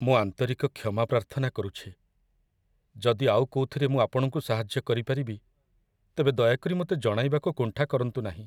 ମୁଁ ଆନ୍ତରିକ କ୍ଷମା ପ୍ରାର୍ଥନା କରୁଛି! ଯଦି ଆଉ କୋଉଥିରେ ମୁଁ ଆପଣଙ୍କୁ ସାହାଯ୍ୟ କରିପାରିବି, ତେବେ ଦୟାକରି ମୋତେ ଜଣାଇବାକୁ କୁଣ୍ଠା କରନ୍ତୁ ନାହିଁ।